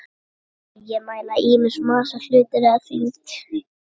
Vogir mæla ýmist massa hluta eða þyngd.